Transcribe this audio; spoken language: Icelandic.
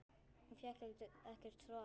Hún fékk ekkert svar.